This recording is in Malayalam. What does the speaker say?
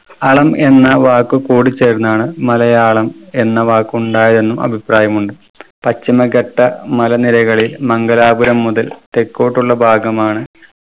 അളം എന്ന വാക്കു കൂടിചേർന്നാണ് മലയാളം എന്ന വാക്കുണ്ടായെന്നും അഭിപ്രായമുണ്ട്. പശ്ചിമഘട്ട മലനിരകളിൽ മംഗലാപുരം മുതൽ തെക്കോട്ടുള്ള ഭാഗമാണ്